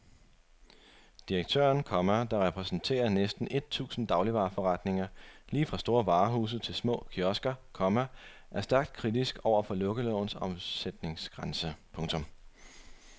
Direktøren, komma der repræsenterer næsten et tusind dagligvareforretninger lige fra store varehuse til små kiosker, komma er stærkt kritisk over for lukkelovens omsætningsgrænse. punktum